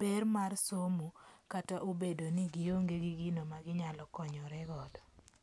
ber mar somo kata obedo ni gionge gi gino ma ginyalo konyoregodo.